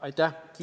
Aitäh!